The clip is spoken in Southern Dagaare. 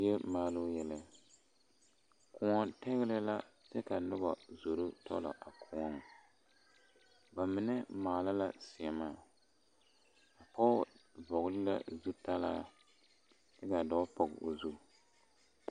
Die maaloo yɛlɛ kõɔ tɛgle la kyɛ ka zoro tɔllɔ a kõɔŋ bamine maala la seema pɔge vɔgle la zutaraa kyɛ ka dɔɔ pɔge o zu.